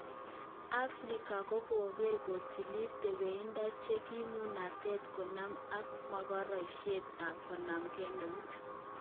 Afrika kokeree kotilii tepeindo che kipunatet konamgee ak mogaroshek ak konamgee nout.